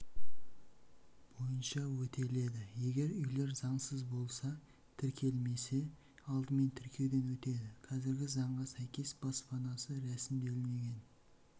бойынша өтеледі егер үйлер заңсыз болса тіркелмесе алдымен тіркеуден өтеді қазіргі заңға сәйкес баспанасы рәсімделмеген